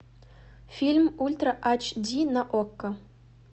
фильм ультра айч ди на окко